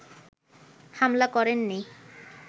হামলা করেননি